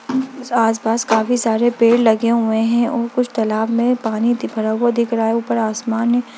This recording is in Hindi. आस पास काफी सारे पेड़ लगे हुए हैं और कुछ तालाब में पानी दि भरा हुआ दिख रहा है ऊपर आसमान है।